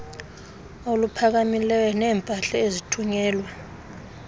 oluphakamileyo neempahla ezithunyelwa